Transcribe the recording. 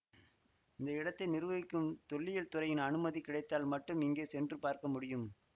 இந்த இடத்தை நிர்வகிக்கும் தொல்லியல் துறையின் அனுமதி கிடைத்தால் மட்டும் இங்கே சென்று பார்க்க முடியும்